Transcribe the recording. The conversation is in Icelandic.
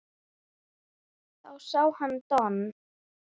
Þá sá hann Don